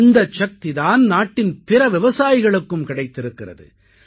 இந்தச் சக்தி தான் நாட்டின் பிற விவசாயிகளுக்கும் கிடைத்திருக்கிறது